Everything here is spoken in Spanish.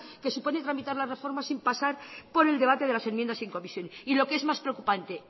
que supone tramitar la reforma sin pasar por el debate de las enmiendas en comisión y lo que es más preocupante